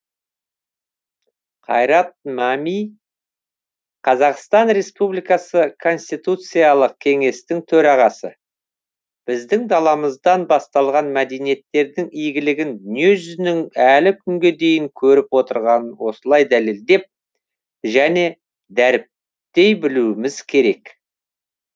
қайрат мәми қазақстан республикасы конституциялық кеңестің төрағасы біздің даламыздан басталған мәдениеттердің игілігін дүниежүзінің әлі күнге дейін көріп отырғанын осылай дәлелдеп және дәріптей білуіміз керек